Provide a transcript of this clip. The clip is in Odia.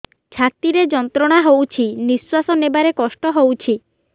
ଛାତି ରେ ଯନ୍ତ୍ରଣା ହଉଛି ନିଶ୍ୱାସ ନେବାରେ କଷ୍ଟ ହଉଛି